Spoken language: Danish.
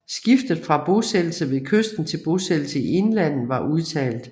Skiftet fra bosættelse ved kysten til bosættelse i indlandet var udtalt